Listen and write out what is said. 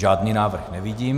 Žádný návrh nevidím.